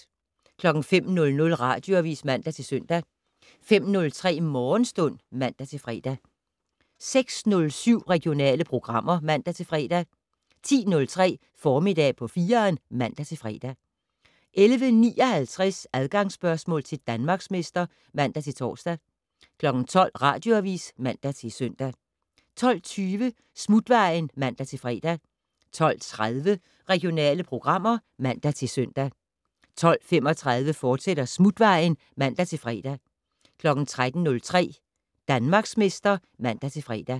05:00: Radioavis (man-søn) 05:03: Morgenstund (man-fre) 06:07: Regionale programmer (man-fre) 10:03: Formiddag på 4'eren (man-fre) 11:59: Adgangsspørgsmål til Danmarksmester (man-tor) 12:00: Radioavis (man-søn) 12:20: Smutvejen (man-fre) 12:30: Regionale programmer (man-søn) 12:35: Smutvejen, fortsat (man-fre) 13:03: Danmarksmester (man-fre)